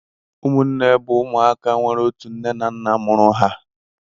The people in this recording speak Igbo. ụmụnne bụ ụmụaka nwere otu nne na nna mụrụ ha.